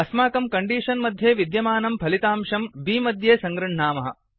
अस्माकं कण्डीषन् मध्ये विद्यमानं फलितांशं बि मध्ये सङ्गृह्णामः